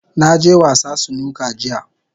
Na je wasa Snooker jiya.